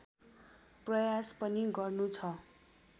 प्रयास पनि गर्नु छ